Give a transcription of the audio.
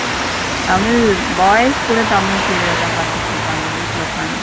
Tamil boys கூட தமிழ் serial தா பாத்துட்டு இருக்காங்க வீட்டுல உக்காந்து.